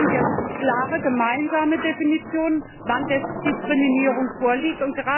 Deswegen brauchen wir klare gemeinsame Definitionen, wann Diskriminierung vorliegt.